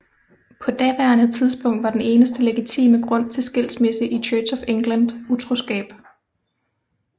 På daværende tidspunkt var den eneste legitime grund til skilsmisse i Church of England utroskab